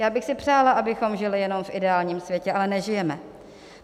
Já bych si přála, abychom žili jenom v ideálním světě, ale nežijeme.